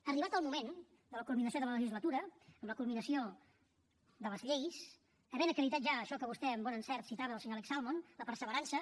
arribat el moment de la culminació de la legislatura amb la culminació de les lleis havent acreditat ja això que vostè amb bon encert citava del senyor alex salmond la perseverança